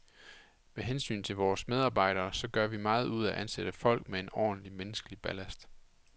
Med hensyn til vores medarbejdere, så gør vi meget ud af at ansætte folk med en ordentlig, menneskelig ballast.